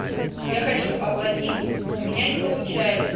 я хочу оплатить но у меня не получается